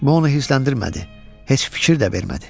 Bu onu hirsləndirmədi, heç fikir də vermədi.